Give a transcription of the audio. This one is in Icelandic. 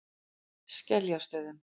Skeljastöðum